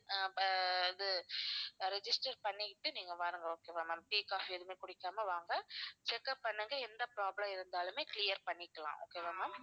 ஆஹ் ப~ இது register பண்ணிக்கிட்டு நீங்க வாங்க okay வா ma'am tea, coffee எதுவுமே குடிக்காம வாங்க check up பண்ணுங்க எந்த problem இருந்தாலுமே clear பண்ணிக்கலாம் okay வா ma'am